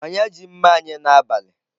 Onye ji mma anyi n'abali?